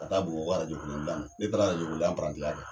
Ka taa bamakɔ arajo kolon gilan na ne taara arajɔya pirantiya kɛ